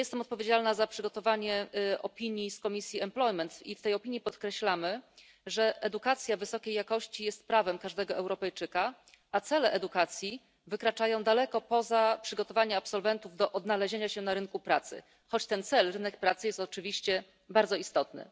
Ja jestem odpowiedzialna za przygotowanie opinii Komisji Zatrudnienia i Spraw Socjalnych i w tej opinii podkreślamy, że edukacja wysokiej jakości jest prawem każdego Europejczyka, a cele edukacji wykraczają daleko poza przygotowanie absolwentów do odnalezienia się na rynku pracy, choć ten cel w postaci rynku pracy jest oczywiście bardzo istotny.